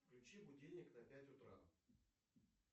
включи будильник на пять утра